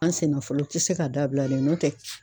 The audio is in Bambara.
An senna fɔlɔ tɛ se ka dabila dɛ n'o tɛ